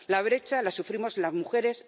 La brecha la sufrimos las mujeres.